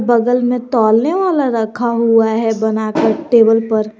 बगल में तोलने वाला रखा हुआ है बनाकर टेबल पर--